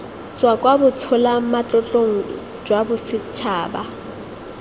tswa kwa botsholamatlotlong jwa bosetšhaba